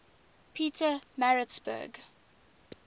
pietermaritzburg